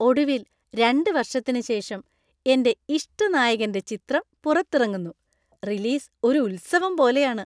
ഒടുവിൽ, രണ്ട് വർഷത്തിന് ശേഷം എന്‍റെ ഇഷ്ടനായകന്‍റെ ചിത്രം പുറത്തിറങ്ങുന്നു, റിലീസ് ഒരു ഉത്സവം പോലെയാണ്.